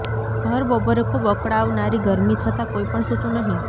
ભર બપોરે ખૂબ અકળાવનારી ગરમી છતાં કોઈ પણ સૂતું નહીં